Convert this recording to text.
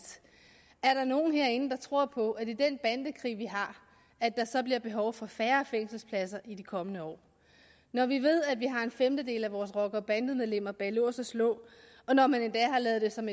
er der nogen herinde der tror på at der i den bandekrig vi har så bliver behov for færre fængselspladser i de kommende år når vi ved at vi har en femtedel af vores rockere og bandemedlemmer bag lås og slå og når man endda har lavet det som